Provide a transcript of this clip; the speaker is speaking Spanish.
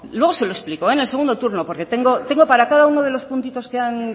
luego se lo explico en el segundo turno porque tengo para cada uno de los puntitos que han